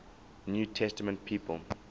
new testament people